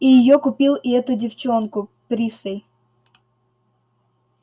и её купил и эту её девчонку присей